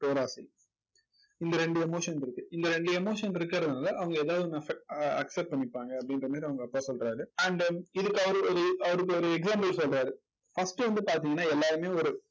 பேராசை. இந்த இரண்டு emotion இருக்கு. இந்த இரண்டு emotion இருக்கறதுனால அவங்க ஏதாவது ஒண்ணு off accept பண்ணிப்பாங்க அப்படின்ற மாதிரி அவங்க அப்பா சொல்றாரு and இதுக்கு அவரு ஒரு அவருக்கு ஒரு example சொல்றாரு. first வந்து பாத்தீங்கன்னா எல்லாருமே ஒரு ஒரு